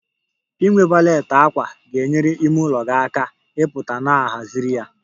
Inwe valet ákwà ga-enyere ime ụlọ gị aka ịpụta na a haziri ya